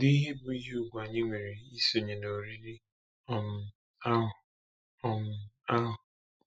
Kedu ihe bụ ihe ùgwù anyị nwere isonye n’oriri um ahụ! um ahụ!